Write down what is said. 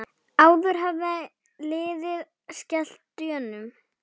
Áður hafði liðið skellt Dönum.